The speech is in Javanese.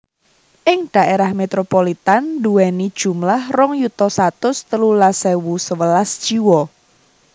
Ing daerah metropolitan nduweni jumlah rong yuta satus telulas ewu sewelas jiwa